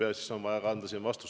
Ja siis on vaja ka vastus anda.